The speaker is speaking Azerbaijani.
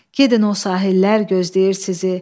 Gedin o sahillər gözləyir sizi.